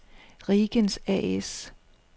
Riegens A/S